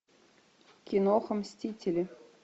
киноха мстители